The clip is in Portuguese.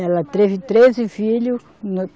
Ela teve treze filhos.